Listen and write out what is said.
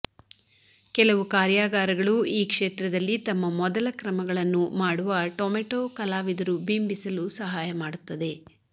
ಕೆಲವು ಕಾರ್ಯಾಗಾರಗಳು ಈ ಕ್ಷೇತ್ರದಲ್ಲಿ ತಮ್ಮ ಮೊದಲ ಕ್ರಮಗಳನ್ನು ಮಾಡುವ ಟೊಮೆಟೊ ಕಲಾವಿದರು ಬಿಂಬಿಸಲು ಸಹಾಯ ಮಾಡುತ್ತದೆ